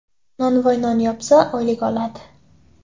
Nonvoy non yopsa, oylik oladi.